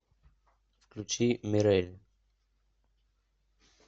включи мирель